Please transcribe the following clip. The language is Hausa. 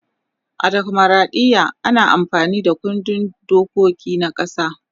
a demokradiya ana amfani Da kundin dokiki na ƙasa